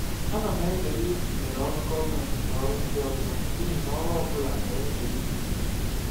Ana m ezere ịtụnyere ọrụ gọọmentị na ọrụ ndị ọzọ n'ihi na ọrụ ọ bụla nwere nsogbu pụrụ iche.